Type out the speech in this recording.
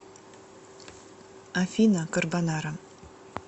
афина карбонара